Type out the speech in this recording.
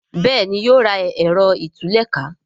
Béèni yóò rà Ẹ̀rọ ìtúlẹ̀ká